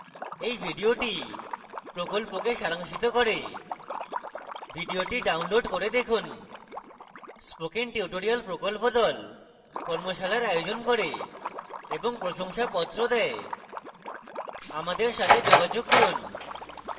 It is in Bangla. এই video প্রকল্পকে সারাংশিত করে video download করে দেখুন spoken tutorial প্রকল্প the কর্মশালার আয়োজন করে এবং প্রশংসাপত্র the আমাদের সাথে যোগাযোগ করুন